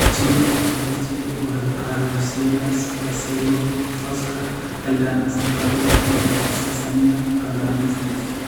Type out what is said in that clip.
Chilo partellus, Chilo orichaociliellus, Busseola fusca, Eldana saccharina, and Sesamia calamistis.